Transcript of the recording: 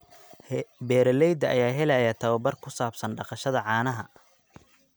Beeralayda ayaa helaya tababar ku saabsan dhaqashada caanaha.